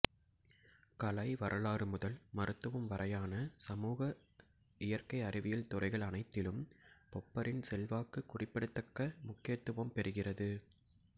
கலை வரலாறு முதல் மருத்துவம் வரையான சமூக இயற்கை அறிவியல் துறைகள் அனைத்திலும் பொப்பரின் செல்வாக்கு குறிப்பிடத்தக்க முக்கியத்துவம் பெறுகிறது